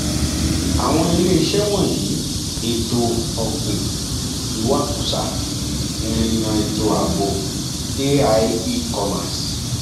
àwọn iléeṣẹ wọnyí ètò ọgbìn ìwakùsà ìrìnà ètò ààbò ai ecommerce